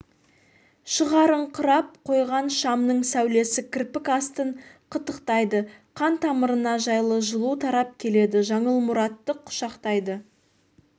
шығарыңқырап қойған шамның сәулесі кірпік астын қытықтайды қан тамырына жайлы жылу тарап келеді жаңыл мұратты құшақтайды